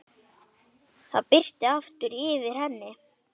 Það birti aftur yfir henni.